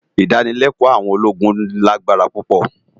Idànilèkò áwòn ólógún ni ágbárá púpò